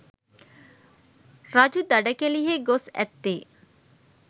රජු දඩකෙළියෙහි ගොස් ඇත්තේ